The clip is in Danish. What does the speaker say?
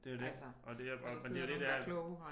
Det er jo det og det men det er jo det det er